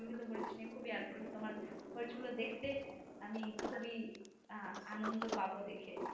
আমি মরিচ নিয়ে খুবই আগ্রহী তমার মরিচ গুল দেখতে আমি খুবি আহ আনন্দ পাব দেখে